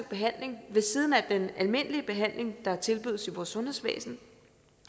behandling ved siden af den almindelige behandling der tilbydes i vores sundhedsvæsen